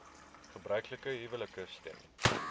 gebruiklike huwelike stem